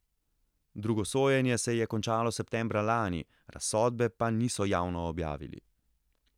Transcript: Drugo sojenje se je končalo septembra lani, razsodbe pa niso javno objavili.